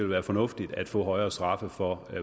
være fornuftigt at få højere straffe for